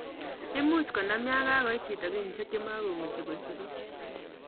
Imuche konam yan kakoit chito kenyisiek chemokumuchi kosigis